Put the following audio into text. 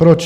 Proč?